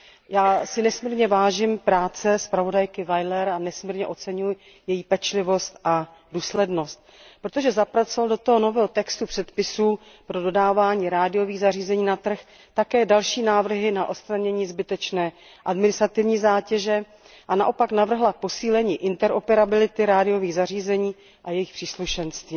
Já si nesmírně vážím práce zpravodajky Weilerové a oceňuji její pečlivost a důslednost, protože zapracovala do toho nového textu předpisů pro dodávání rádiových zařízení na trh také další návrhy na odstranění zbytečné administrativní zátěže a naopak navrhla posílení interoperability rádiových zařízení a jejich příslušenství.